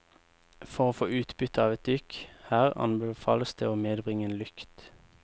For å få utbytte av et dykk her anbefales det å medbringe en lykt.